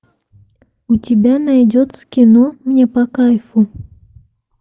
у тебя найдется кино мне по кайфу